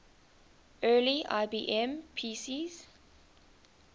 early ibm pcs